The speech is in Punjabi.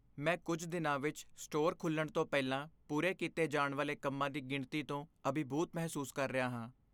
ਮੈਂ ਕੁੱਝ ਦਿਨਾਂ ਵਿੱਚ ਸਟੋਰ ਖੁੱਲ੍ਹਣ ਤੋਂ ਪਹਿਲਾਂ ਪੂਰੇ ਕੀਤੇ ਜਾਣ ਵਾਲੇ ਕੰਮਾਂ ਦੀ ਗਿਣਤੀ ਤੋਂ ਅਭਿਭੂਤ ਮਹਿਸੂਸ ਕਰ ਰਿਹਾ ਹਾਂ।